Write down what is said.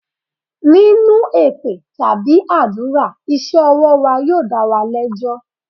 Nínú èpè tàbí àdúrà, iṣẹ́ ọwọ́ wa yóò dá wa lẹ́jọ́.